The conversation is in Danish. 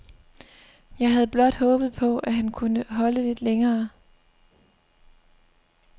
Jeg havde blot håbet på, at han kunne holde lidt længere.